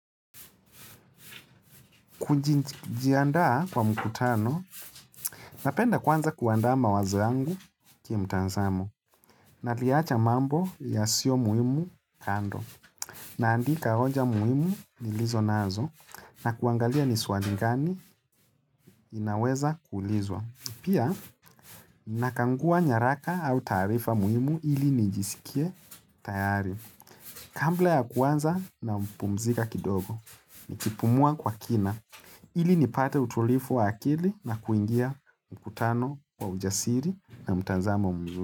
Kujiandaa kwa mkutano, napenda kwanza kuandama wazo yangu kimtanzamo, naliacha mambo yasiyo muhimu kando, naandika hoja muhimu nilizo nazo, na kuangalia ni swali gani inaweza kuulizwa. Pia nakagua nyaraka au taarifa muhimu ili nijisikie tayari Kabla ya kuanza napumzika kidogo Nikipumua kwa kina ili nipate utulivu wa akili na kuingia mkutano wa ujasiri na mtazamo mzuri.